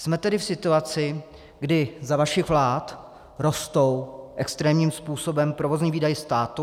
Jsme tedy v situaci, kdy za vašich vlád rostou extrémním způsobem provozní výdaje státu.